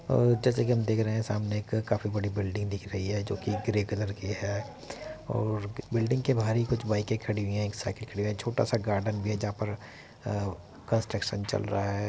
आ जैसा कि हम देख रहे है सामने एक काफी बड़ी बिल्डिंग दिख रही है जोकि ग्रे कलर की है और बिल्डिंग के बाहर ही कुछ बाइके खड़ी हुई है एक साइकल खड़ी हुई है। छोटा सा गार्डेन भी है जहाँ पर आ कंस्ट्रक्शन चल रहा है।